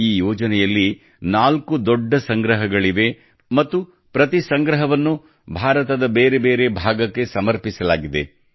ಈ ಯೋಜನೆಯಲ್ಲಿ ನಾಲ್ಕು ದೊಡ್ಡ ಸಂಗ್ರಹಗಳಿವೆ ಮತ್ತು ಪ್ರತಿ ಸಂಗ್ರಹವನ್ನು ಭಾರತದ ಬೇರೆ ಬೇರೆ ಭಾಗಕ್ಕೆ ಸಮರ್ಪಿಸಲಾಗಿದೆ